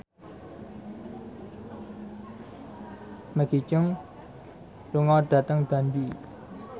Maggie Cheung lunga dhateng Dundee